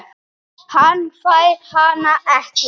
Hann fær hana ekki.